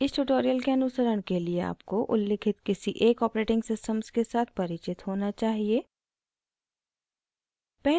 इस tutorial के अनुसरण के लिए आपको उल्लिखित किसी एक operating systems के साथ परिचित होना चाहिए